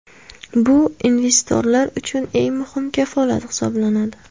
Bu investorlar uchun eng muhim kafolat hisoblanadi.